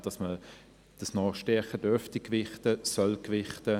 Das dürfte und sollte stärker gewichtet werden;